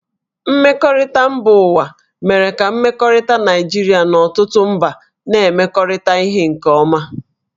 Mmekọrịta mba ụwa mere ka mmekọrịta Naịjirịa na ọtụtụ mba na-emekọrịta ihe nke ọma